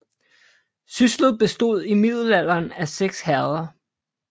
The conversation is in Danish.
Syslet bestod i middelalderen af 6 herreder